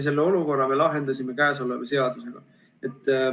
Selle olukorra me lahendasime käesoleva seadusega.